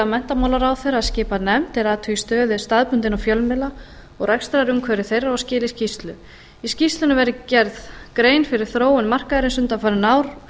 menntamálaráðherra að skipa nefnd er athugi stöðu staðbundinna fjölmiðla og rekstrarumhverfi þeirra og skili skýrslu í skýrslunni verði gerð grein fyrir þróun markaðarins undanfarin ár